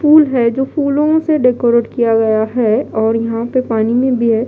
पुल है जो फूलों से डेकोरेट किया गया है और यहां पे पानी में भी है।